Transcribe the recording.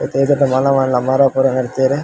ನೆತ್ತ ಎದುರುಡು ಮಲ್ಲ ಮಲ್ಲ ಮರ ಪೂರ ನಡ್ತೆರ್ .